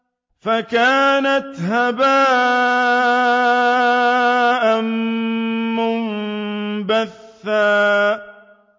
فَكَانَتْ هَبَاءً مُّنبَثًّا